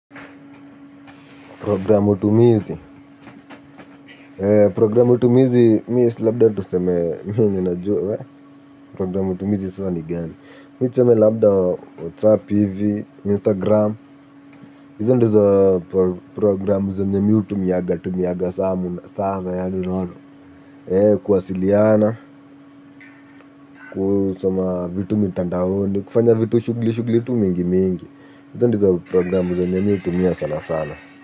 Programme utumizi. Programme utumizi mi labda tu seme programme utumizi sasa ni gani mi tuseme labda WhatsApp hivi Instagram hizo ndizo program zenye mi hutumiaga tumiaga sana sana sana kuwasiliana kufanya vitu shugli shugli tu mingi mingi hizo ndizo program zenye mi hutumia sana sana.